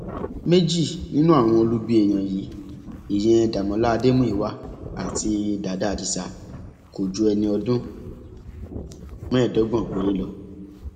méjì nínú àwọn olubi èèyàn yìí ìyẹn dàmọlà adémúyíwá àti dàdá adisa kò ju ẹni ọdún mẹẹẹdọgbọn péré lọ